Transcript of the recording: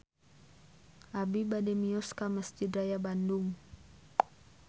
Abi bade mios ka Mesjid Raya Bandung